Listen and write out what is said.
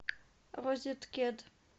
розеткет